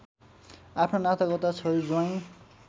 आफ्ना नातागोता छोरी ज्वाइँ